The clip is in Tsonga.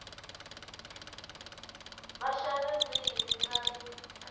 va xa ririmi ra le